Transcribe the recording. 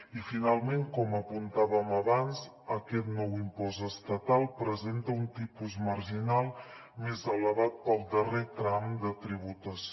i finalment com apuntàvem abans aquest nou impost estatal presenta un tipus marginal més elevat per al darrer tram de tributació